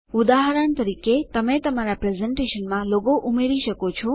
ઉદાહરણ તરીકે તમે તમારા પ્રેઝેંટેશનમાં લોગો ઉમેરી શકો છો